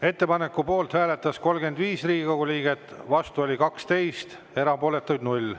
Ettepaneku poolt hääletas 35 Riigikogu liiget, vastu oli 12, erapooletuid 0.